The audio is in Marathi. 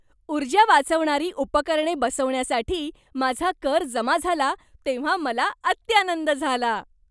ऊर्जा वाचवणारी उपकरणे बसवण्यासाठी माझा कर जमा झाला तेव्हा मला अत्यानंद झाला.